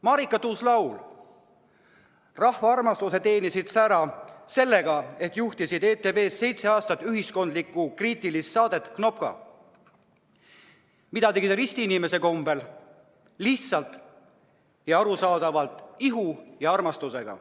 Marika Tuus-Laul, rahva armastuse teenisid sa ära sellega, et juhtisid ETV-s seitse aastat ühiskonnakriitilist saadet "Knopka", mida sa tegid ristiinimese kombel, lihtsalt ja arusaadavalt, hoole ja armastusega.